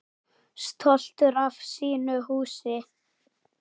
Stoltur af sínu húsi.